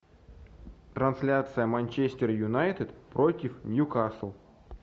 трансляция манчестер юнайтед против ньюкасл